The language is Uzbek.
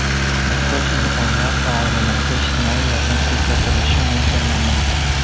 Muhtoj insonlar va oilalarga ijtimoiy yordam ko‘rsatilishi mo‘ljallanmoqda.